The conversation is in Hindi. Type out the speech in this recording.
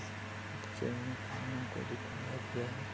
इस पिक्चर में खाना को दिखाया गया है|